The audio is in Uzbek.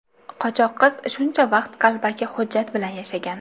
Qochoq qiz shuncha vaqt qalbaki hujjat bilan yashagan.